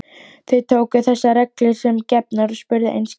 Þau tóku þessar reglur sem gefnar og spurðu einskis.